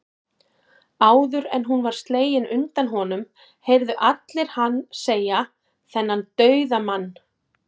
Áður en hún var slegin undan honum, heyrðu allir hann segja, þennan dauðamann